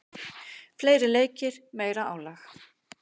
Fleiri leikir, meira álag.